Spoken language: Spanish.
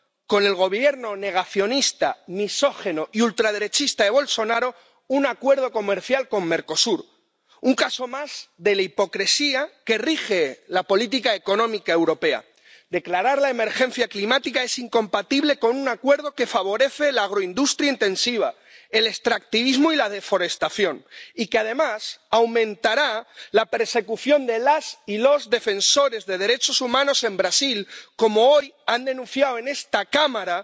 con el Gobierno negacionista, misógino y ultraderechista de Bolsonaro, un acuerdo comercial con Mercosur, un caso más de la hipocresía que rige la política económica europea. Declarar la emergencia climática es incompatible con un acuerdo que favorece la agroindustria intensiva, el extractivismo y la deforestación, y que además aumentará la persecución de las y los defensores de derechos humanos en Brasil, como hoy han denunciado en esta Cámara